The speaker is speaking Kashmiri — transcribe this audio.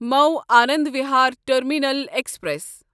مو آنند وہار ٹرمینل ایکسپریس